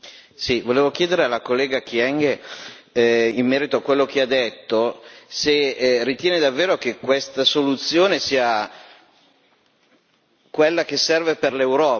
Volevo chiedere alla collega Kyenge in merito a quello che ha detto, se ritiene davvero che questa soluzione sia quella che serve per l'Europa.